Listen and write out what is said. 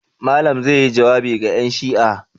Malam zai yi jawabi ga 'yanshi'a.